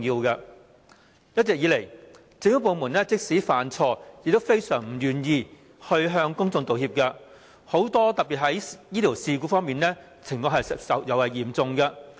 一直以來，政府部門即使犯錯也非常不願意向公眾道歉，特別在醫療事故方面，情況尤為嚴重。